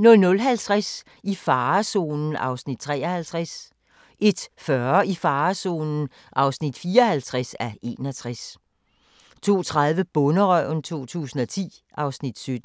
00:50: I farezonen (53:61) 01:40: I farezonen (54:61) 02:30: Bonderøven 2010 (Afs. 17)